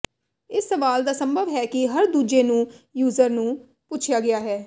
ਇਸ ਸਵਾਲ ਦਾ ਸੰਭਵ ਹੈ ਕਿ ਹਰ ਦੂਜੇ ਨੂੰ ਯੂਜ਼ਰ ਨੂੰ ਪੁੱਛਿਆ ਗਿਆ ਹੈ